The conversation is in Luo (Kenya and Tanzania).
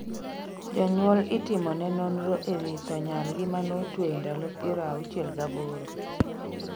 Jonyuol itimone nonro e wi tho nyargi manotweyo ndalo piero auchiel gaboro